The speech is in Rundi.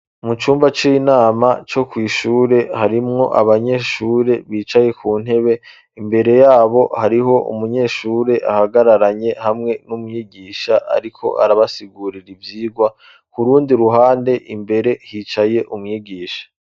Mu cumba c'inama co kwishure harimwo abanyeshure bicaye ku ntebe imbere yabo hariho umunyeshure ahagararanye hamwe n'umwigisha, ariko arabasigurira ivyirwa ku rundi ruhande imbere hicaye umwigisha.